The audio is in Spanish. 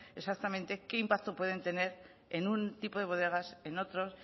exactamente qué impacto pueden tener en un tipo de bodegas en otros